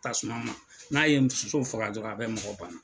tasumama n'a ye soso faga dɔrɔn a bɛ mɔgɔ banna.